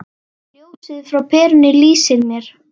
Ljósið frá perunni lýsir mér.